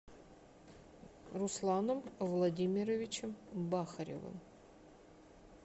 русланом владимировичем бахаревым